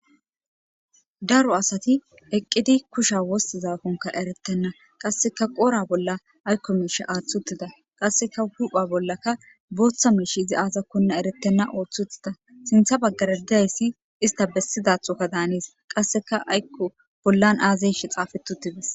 Daro asati eqqidi kusha wosti zaakonka eretenna qasseka qora bolla aykko miisha aaththutida qasseka hupha bollaka booththa miish izi aazakkonna eretenna ooththuttida sintha baggarediayssi ista bessidathokka daanees qasseka aykqo bollan aazayshe xaafetutides.